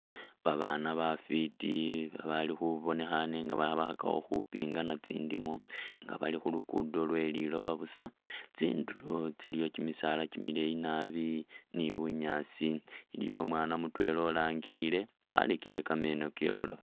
Ba baana bafiti ba bali ba bonekhane nga bakhakakho khu pingana tsindimo nga bali khulugudo lwe liloba busa, tsindulo tsiliyo kyimisaala kyimileyi naabi ni bunyaasi iliyo umwana mutwela urangile warekere kameno ke ibulafu.